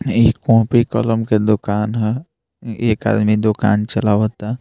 ई कॉपी कलम के दुकान ह एक आदमी दुकान चलावता।